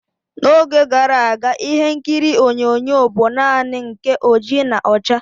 N'oge gara aga, ịhe nkiri onyonyo bụ naanị nke oji na ọcha.